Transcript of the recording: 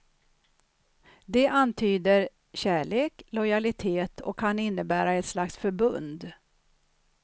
Det antyder kärlek, lojalitet och kan innebära ett slags förbund.